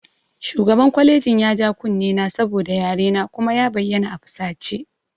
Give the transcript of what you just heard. Shugaban kwalejin ya ja kunnen na saboda yarena kuma ya bayyana a fusace